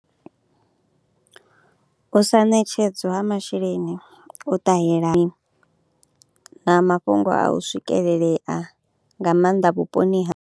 U sa ṋetshedzwa ha masheleni u ṱahela na mafhungo a u swikelelea nga maanḓa vhuponi ha.